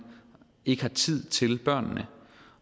ikke har tid til børnene